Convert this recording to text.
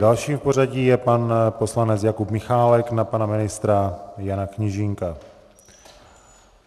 Dalším v pořadí je pan poslanec Jakub Michálek na pana ministra Jana Kněžínka.